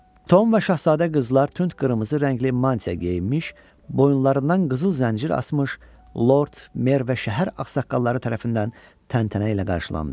Tom və şahzadə qızlar tünd qırmızı rəngli mantiya geyinmiş, boyunlarından qızıl zəncir asmış Lord Mer və şəhər ağsaqqalları tərəfindən təntənə ilə qarşılandı.